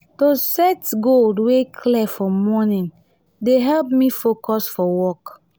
to set goal wey clear for morning dey help me focus for work.